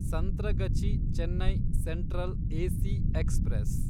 Santragachi Chennai central AC express